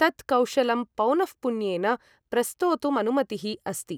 तत् कौशलं पौनःपुन्येन प्रस्तोतुमनुमतिः अस्ति।